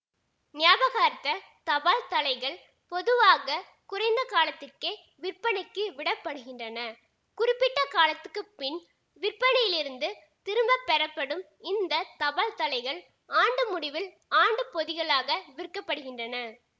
ஞாபகார்த்த தபால்தலைகள் பொதுவாக குறைந்த காலத்துக்கே விற்பனைக்கு விடப்படுகின்றன குறிப்பிட்ட காலத்துக்கு பின் விற்பனையிலிருந்து திரும்ப பெறப்படும் இந்த தபால்தலைகள் ஆண்டு முடிவில் ஆண்டுப்பொதிகளாக விற்க படுகின்றன